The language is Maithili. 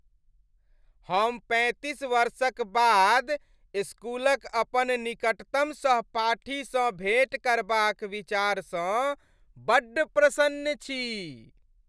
हम पैंतीस वर्षक बाद इस्कूलक अपन निकटतम सहपाठीसँ भेँट करबाक विचारसँ बड्ड प्रसन्न छी।